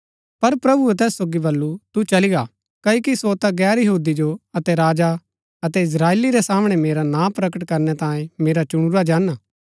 पर प्रभुऐ तैस सोगी बल्लू तु चली गा क्ओकि सो ता गैर यहूदी जो अतै राजा अतै इस्त्राएली रै सामणै मेरा नां प्रकट करणै तांयें मेरा चुनुरा जन हा